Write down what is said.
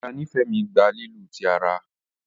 Ìyá Nifemi gbà lílu tí àrà.